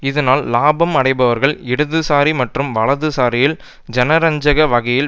இதனால் இலாபம் அடைபவர்கள் இடதுசாரி மற்றும் வலதுசாரியில் ஜனரஞ்சக வகையில்